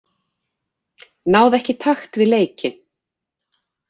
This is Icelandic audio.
Náði ekki takt við leikinn.